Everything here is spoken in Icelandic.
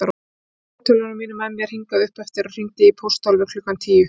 Ég tók fartölvuna mína með mér hingað uppeftir og hringdi í pósthólfið klukkan tíu.